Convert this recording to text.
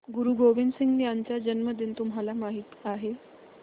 गुरु गोविंद सिंह यांचा जन्मदिन तुम्हाला माहित आहे